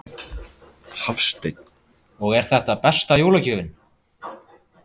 Hafsteinn: Og er þetta besta jólagjöfin?